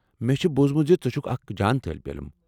مےٚ چُھ بوزمُت زِ ژٕ چُھكھ اكھ جان طالب علم ۔